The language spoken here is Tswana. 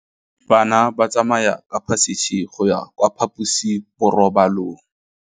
Bana ba tsamaya ka phašitshe go ya kwa phaposiborobalong.